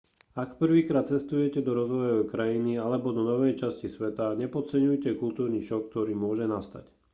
ak prvýkrát cestujete do rozvojovej krajiny alebo do novej časti sveta nepodceňujte kultúrny šok ktorý môže nastať